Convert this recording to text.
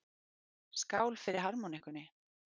Skál fyrir harmonikkunni!